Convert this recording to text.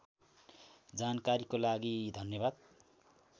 जानकारीको लागि धन्यवाद